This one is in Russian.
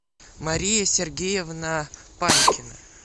мария сергеевна панькина